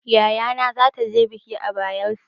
Yayana zata je bikin a Bayela.